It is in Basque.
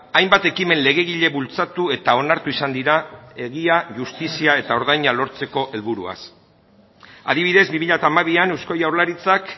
hainbat ekimen legegile bultzatu eta onartu izan dira egia justizia eta ordaina lortzeko helburuaz adibidez bi mila hamabian eusko jaurlaritzak